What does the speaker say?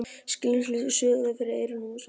Skilningsleysið suðaði fyrir eyrum Sveins.